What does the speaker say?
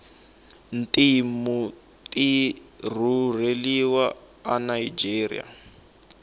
timtu tirureliwa anigeria